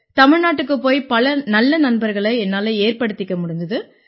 தமிழ்நாட்டுக்குப் போய் பல நல்ல நண்பர்களை என்னால ஏற்படுத்திக்க முடிஞ்சுது